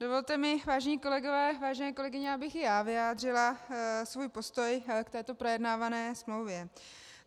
Dovolte mi, vážení kolegové, vážené kolegyně, abych i já vyjádřila svůj postoj k této projednávané smlouvě.